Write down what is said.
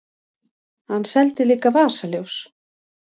Hann seldi líka vasaljós.